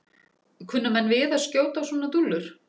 Kunna menn við að skjóta á svona dúllur?